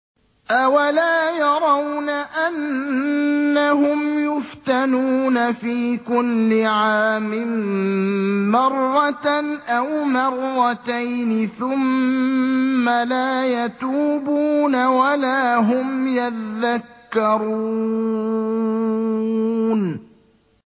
أَوَلَا يَرَوْنَ أَنَّهُمْ يُفْتَنُونَ فِي كُلِّ عَامٍ مَّرَّةً أَوْ مَرَّتَيْنِ ثُمَّ لَا يَتُوبُونَ وَلَا هُمْ يَذَّكَّرُونَ